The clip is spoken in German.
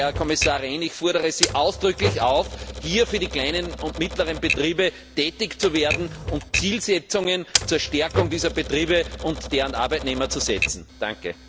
Herr Kommissar Rehn, ich fordere Sie ausdrücklich auf, hier für die kleinen und mittleren Betriebe tätig zu werden und Zielsetzungen zur Stärkung dieser Betriebe und deren Arbeitnehmer zu formulieren.